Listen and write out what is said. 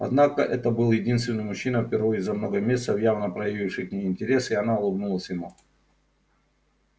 однако это был единственный мужчина впервые за много месяцев явно проявивший к ней интерес и она улыбнулась ему